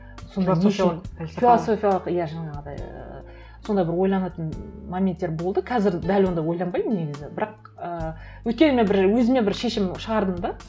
философиялық иә жаңағыдай ііі сондай бір ойланатын моменттер болды қазір дәл ондай ойланбаймын негізі бірақ ыыы өйткені мен бір өзіме бір шешім шығардым да